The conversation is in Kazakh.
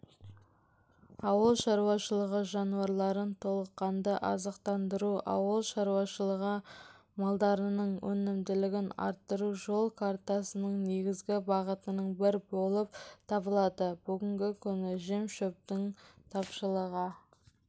ауыл шаруашылығы жануарларын толыққанды азықтандыру ауыл шаруашылығы малдарының өнімділігін арттыру жол картасының негізгі бағытының бірі болып табылады бүгінгі күні жем-шөптің тапшылығы